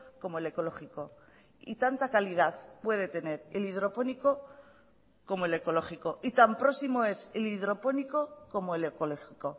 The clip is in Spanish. como el ecológico y tanta calidad puede tener el hidropónico como el ecológico y tan próximo es el hidropónico como el ecológico